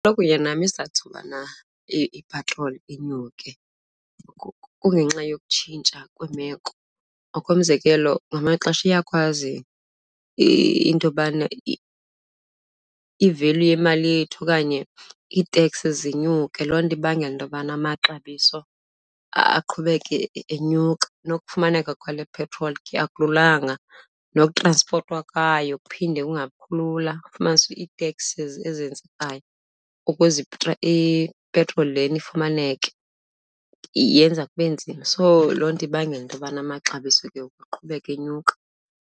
nam isizathu sokubana ipetroli inyuke kungenxa yokutshintsha kwemeko. Ngokomzekelo ngamanye amaxesha iyakwazi into yobana i-value yemali yethu okanye iiteks zinyuke, loo nto ibangela into yobana amaxabiso aqhubeke enyuka. Nokufumaneka kwale petroli ke akululanga, nokutranspothwa kwayo kuphinde kungabikho lula. Fumanise ii-taxes ezenzekayo ukuze ipetroli lena ifumaneke yenza kube nzima. So loo nto ibangela into yobana amaxabiso ke ukuqhubeka enyuka.